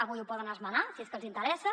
avui ho poden esmenar si és que els hi interessa